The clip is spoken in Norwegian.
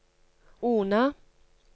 Ona